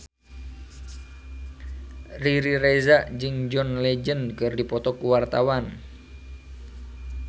Riri Reza jeung John Legend keur dipoto ku wartawan